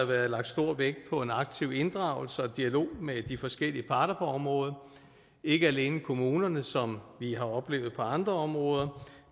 været lagt stor vægt på en aktiv inddragelse og dialog med de forskellige parter på området ikke alene kommunerne som vi har oplevet det på andre områder